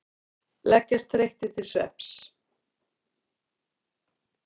Leggjast þreyttir til svefns.